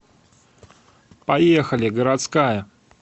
поехали городская